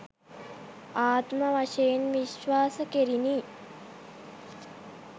ආත්ම වශයෙන් විශ්වාස කෙරිණි.